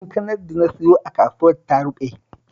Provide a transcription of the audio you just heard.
Kankanar da na siyo a kasuwar ta ruɓe